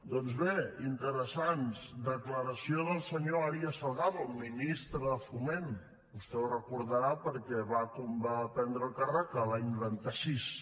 doncs bé interessants declaració del senyor arias salgado ministre de foment vostè ho deu recordar perquè va prendre càrrec l’any noranta sis